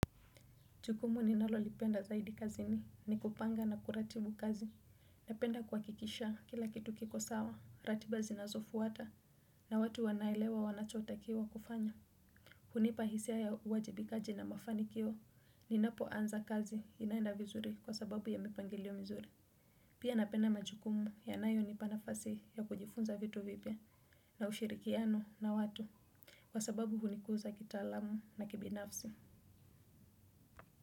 Jukumu ninalolipenda zaidi kazini, ni kupanga na kuratibu kazi, napenda kuhakikisha kila kitu kiko sawa, ratiba zinazofuata, na watu wanaelewa wanachotakiwa kufanya. Hunipa hisia ya uwajibikaji na mafanikio, ninapoanza kazi inaenda vizuri kwa sababu ya mipangilio mizuri. Pia napenda majukumu yanayonipa nafasi ya kujifunza vitu vipya, na ushirikiano na watu, kwa sababu hunikuza kitaalamu na kibinafsi.